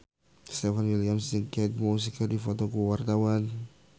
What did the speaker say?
Stefan William jeung Kate Moss keur dipoto ku wartawan